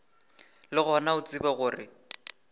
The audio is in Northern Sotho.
le gona o tsebe gore